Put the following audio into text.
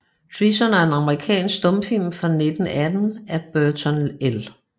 Treason er en amerikansk stumfilm fra 1918 af Burton L